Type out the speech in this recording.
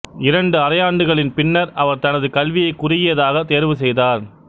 இரண்டு அரையாண்டுகளின் பின்னர் அவர் தனது கல்வியைக் குறுகியதாகத் தேர்வுசெய்தார்